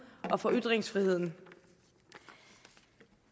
og for ytringsfriheden